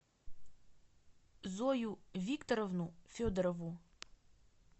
зою викторовну федорову